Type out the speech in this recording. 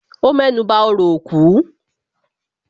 Ó mẹ́nuba òrò òkú